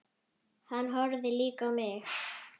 Hann horfði líka á mig.